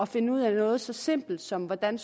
finde ud af noget så simpelt som hvordan